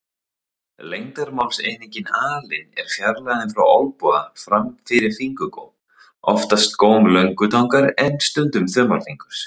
Lengdarmálseiningin alin er fjarlægðin frá olnboga fram fyrir fingurgóm, oftast góm löngutangar en stundum þumalfingurs.